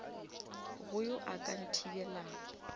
go yo a ka nthibelago